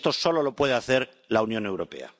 Y esto solo lo puede hacer la Unión Europea.